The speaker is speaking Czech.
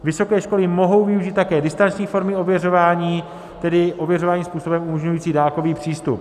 Vysoké školy mohou využít také distanční formy ověřování, tedy ověřování způsobem umožňující dálkový přístup.